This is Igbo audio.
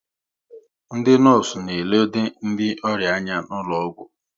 Ndị nọọsụ na elode ndị ọrịa anya n'ụlọgwụ